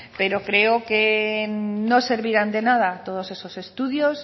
pero creo que no servirán de nada todos esos estudios